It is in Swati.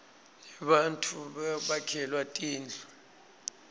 nebattfu bakhelwa tindlu